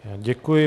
Děkuji.